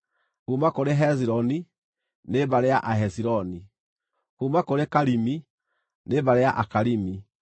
kuuma kũrĩ Hezironi, nĩ mbarĩ ya Ahezironi; kuuma kũrĩ Karimi, nĩ mbarĩ ya Akarimi.